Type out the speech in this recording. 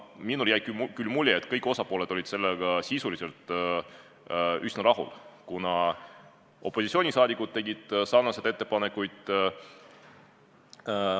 Minule jäi küll mulje, et kõik osapooled olid sellega sisuliselt üsna rahul, kuna opositsioonisaadikud tegid sarnaseid ettepanekuid.